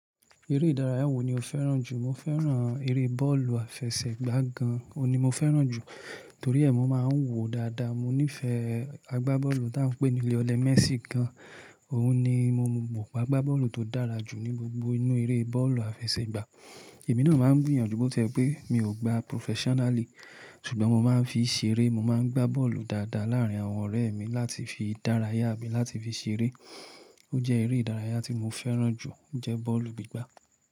Eré ìdárayá wo ni o fẹ́ràn jù? Mo fẹ́ràn eré bọ́ọ̀lù àfẹsẹ̀gbá gan. O ni mo fẹ́ràn jù torí ẹ, mo máa ń wò dáadáa. Mo nífẹ̀ẹ́ agbábọ́ọ̀lù tí a ń pè ní Lionel Messi gan. Òun ni mo mọ̀ gbogbo agbábọ́ọ̀lù tó dára jù ní gbogbo inú eré bọ́ọ̀lù àfẹsẹ̀gbá. Èmi náà máa ń gbìyànjú bó ti ẹ pé mi ò gba professionally ṣùgbọ́n mo máa ń fi ṣeré. Mo máa ń gbá bọ́ọ̀lù dáadáa láàrín àwọn ọ̀rẹ́ mi láti fi ìdárayá mi láti fi ṣeré. Ó jẹ́ eré ìdárayá tí mo fẹ́ràn jù, ó jẹ́ bọ́ọ̀lù gbígbá.